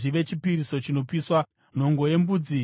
nhongo yembudzi imwe chete yechipiriso chechivi;